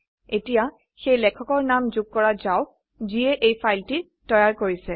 এতিয়া সেই লেখকৰ নাম যোগ কৰা যাওক যিয়ে এই ফাইলটি তৈয়াৰ কৰিছে